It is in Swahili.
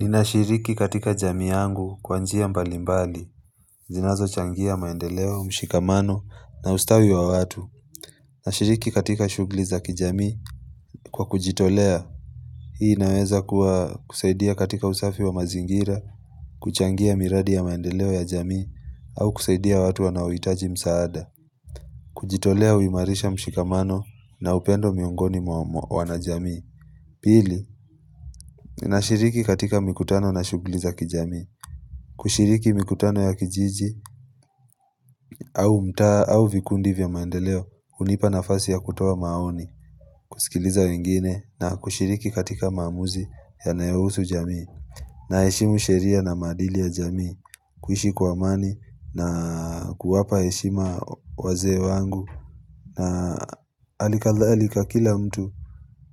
Ninashiriki katika jamii yangu kwa njia mbalimbali, zinazo changia maendeleo, mshikamano na ustawi wa watu. Nashiriki katika shughuli za kijamii kwa kujitolea. Hii naweza kuwa kusaidia katika usafi wa mazingira, kuchangia miradi ya maendeleo ya jamii au kusaidia watu wanaohitaji msaada. Kujitolea uimarisha mshikamano na upendo miongoni mwa wana jamii Pili, ninashiriki katika mikutano na shughuli za kijami. Kushiriki mikutano ya kijiji au mtaa au vikundi vya maendeleo hunipa na fasi ya kutoa maoni kusikiliza wengine na kushiriki katika maamuzi yanayo husu jamii na heshimu sheria na maadili ya jamii kuishi kwa amani na kuwapa heshima wazee wangu na hali kadhalika kila mtu